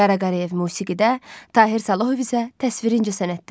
Qara Qarayev musiqidə, Tahir Salahov isə təsviri incəsənətdə.